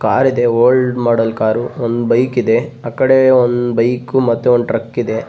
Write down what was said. ಕಾರಿದೆ old model car ಒಂದು bike ಇದೆ ಆ ಕಡೆ ಒಂದು ಬೈಕ್ ಒಂದು ಟ್ರಕ್ ಇದೆ.